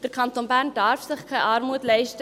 Der Kanton Bern darf sich keine Armut leisten.